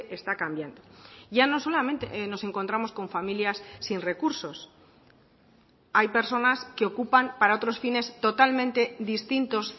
está cambiando ya no solamente nos encontramos con familias sin recursos hay personas que ocupan para otros fines totalmente distintos